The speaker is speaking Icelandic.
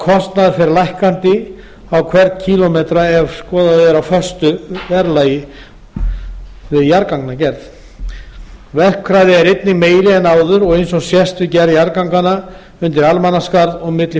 kostnaður fer lækkandi á hvern kílómetra í jarðgangagerð verkhraði er einnig meiri en áður eins og sást við gerð jarðganganna undir almannaskarð og milli